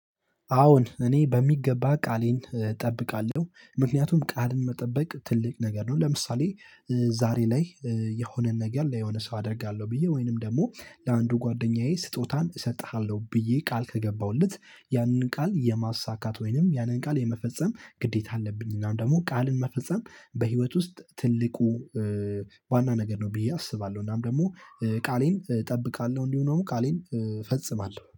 አዎን እኔ በሚገባ ቃሌን እጠብቃለሁ ምክንያቱም ቃልን መጠበቅ ትልቅ ነገር ነው። ለምሳሌ ዛሬ ላይ የሆነን ነገር ለሆነ ሰው አደርጋለሁ ብዬ ወይንም ደግሞ ለአንዱ ጓደኛዬ ስጦታን እሰጥሃለሁ ብዬ ቃል ከገባሁለት ያንን ቃል የማሳካት ወይንም ያንን ቃል የመፈጸም ግዴታ አለብኝ እናም ደግሞ ቃልን መፈጸም። በህይወት ውስጥ ትልቁ ዋና ነገር ነው ብዬ አስባለሁ። እናም ደግሞ ቃሌን እጠብቃለሁ እንዲሁ ነው ቃሌን ፈጽማል